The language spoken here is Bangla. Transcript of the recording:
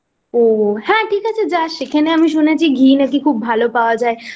ও হ্যাঁ ঠিক আছে যাস সেখানে আমি শুনেছি ঘি নাকি খুব